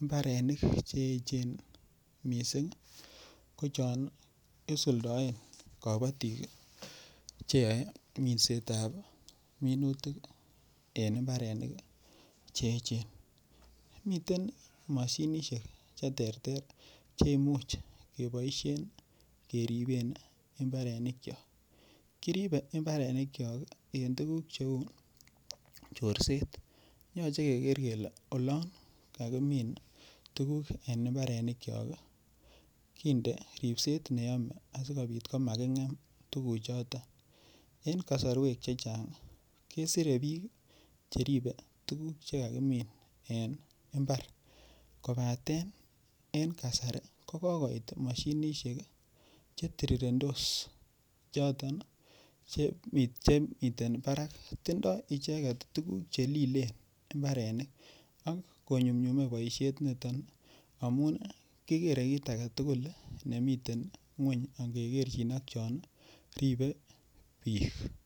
imbarenik cheechen mising ko chon isuldaen kobotik cheyoei minset ap minutik en imbarenik cheechen miten mashinishek che ter ter che imuch keboishen keriben imbarenik cho kiribe imbarenik cho en tukuk cheu chorset yochei keker kele olon kakimin tukuk en imbarenik cho kinde ripset neyome asikobit akomaking'em tukuchoton en kosorwek che chang kesire biik cheribe tukuk chekakimin en imbar kobaten en kasari ko kokoit mashinishek chetirirentos choton chemiten barak tindoi icheket tukuk chelilen imbarenik ak konyumnyume boishet niton amun kikere kiit age tugul nemiten ng'weny ak ngekerchin akyo ribe biik.